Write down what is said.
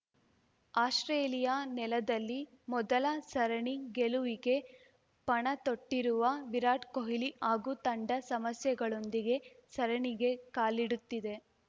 Australia ನೆಲದಲ್ಲಿ ಮೊದಲ ಸರಣಿ ಗೆಲುವಿಗೆ ಪಣತೊಟ್ಟಿರುವ ವಿರಾಟ್‌ ಕೊಹ್ಲಿ ಹಾಗೂ ತಂಡ ಸಮಸ್ಯೆಗಳೊಂದಿಗೆ ಸರಣಿಗೆ ಕಾಲಿಡುತ್ತಿದೆ